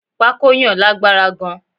Pako yàn lágbára gan